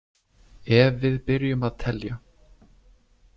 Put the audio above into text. Ef við byrjum að telja.